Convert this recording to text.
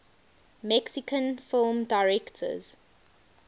mexican film directors